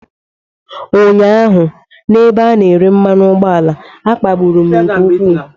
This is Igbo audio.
Ụnyaahụ n'ebe a na-ere mmanu ugboala, a kpagburu m nke ukwuu.